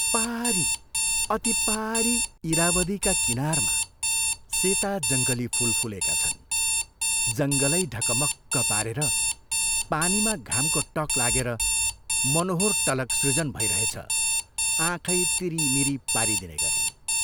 पारि, अति पारि ईरावदीका किनारमा सेता जङ्गली फूल फुलेका छन्, जङ्गलै ढकमक्क पारेर पानीमा घामको टक लागेर मनोहर टलक सृजन भइरहेछ, आँखै तिरिमिरि पारिदिने गरी।